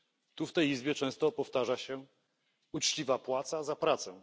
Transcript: Tu w tej Izbie często powtarza się uczciwa płaca za pracę.